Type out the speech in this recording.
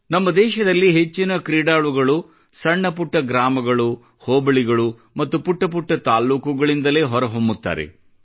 ನಮ್ಮ ದೇಶದಲ್ಲಿ ಹೆಚ್ಚಿನ ಕ್ರೀಡಾಳುಗಳು ಸಣ್ಣ ಪುಟ್ಟ ಗ್ರಾಮಗಳು ಹೋಬಳಿಗಳು ಮತ್ತು ಪುಟ್ಟ ತಾಲೂಕುಗಳಿಂದಲೇ ಹೊರಹೊಮ್ಮುತ್ತಾರೆ